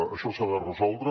això s’ha de resoldre